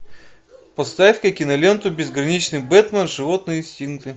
поставь ка киноленту безграничный бэтмен животные инстинкты